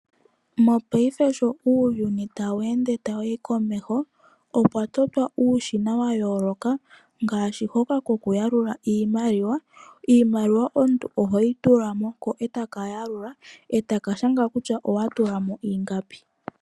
Mongashingeyi sho uuyuni tawu humu komeho opwa totwa uushina wa yooloka ngaashi hoka kokuyalula iimaliwa uuna wa tula ohaka shanga wo kutya owa tula mo ingapi.